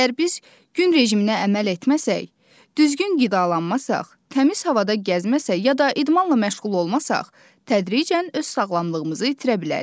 Əgər biz gün rejiminə əməl etməsək, düzgün qidalanmasaq, təmiz havada gəzməsək, ya da idmanla məşğul olmasaq, tədricən öz sağlamlığımızı itirə bilərik.